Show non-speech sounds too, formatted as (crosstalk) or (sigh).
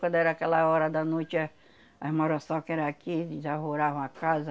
Quando era aquela hora da noite éh, as muriçoca era aqui, e já (unintelligible) a casa.